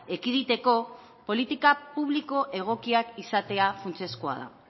ekiditeko politika publiko egokiak izatea funtsezkoa da